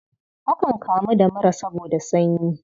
Akan kamu da mura saboda sanyi.